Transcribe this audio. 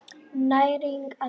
Næring og heilsa.